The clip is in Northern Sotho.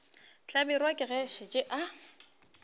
hlabirwa ke ge a šetše